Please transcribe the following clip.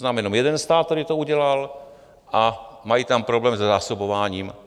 Znám jenom jeden stát, který to udělal, a mají tam problém se zásobováním.